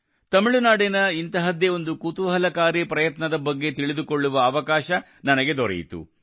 ತಮಿಳುನಾಡಿನ ಇಂತಹದ್ದೇ ಒಂದು ಕುತೂಹಲಕಾರಿ ಪ್ರಯತ್ನದ ಬಗ್ಗೆ ತಿಳಿದುಕೊಳ್ಳುವ ಅವಕಾಶ ನನಗೆ ದೊರೆಯಿತು